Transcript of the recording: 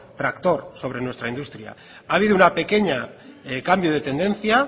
tractor sobre nuestra industria ha habido un pequeño cambio de tendencia